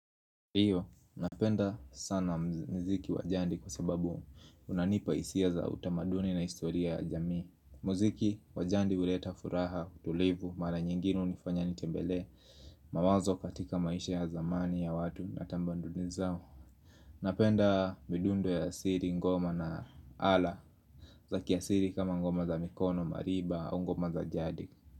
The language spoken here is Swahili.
Ndio, napenda sana mziki wa jadi kwa sababu unanipa hisia za utamaduni na historia ya jamii mziki wa jadi huleta furaha, tulivu, mara nyingine hunifanya nitembelee mawazo katika maisha ya zamani ya watu na tamaduni zao Napenda midundo ya siri, ngoma na ala Zakiasili kama ngoma za mikono, mariba, au ngoma za jadi.